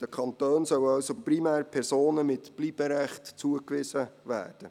Den Kantonen sollen also primär Personen mit Bleiberecht zugewiesen werden.